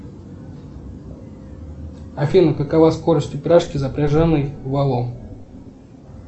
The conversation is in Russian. афина какова скорость упряжки запряженной волом